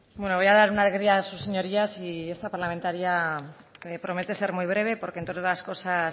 bueno voy a dar una alegría a sus señorías y esta parlamentaria promete ser muy breve porque entre otras cosas